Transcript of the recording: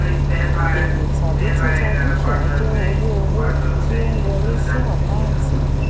èrè tàbí títa dúkìá jẹ́ owó owó tí ó ń wọlé sí àkáǹtì.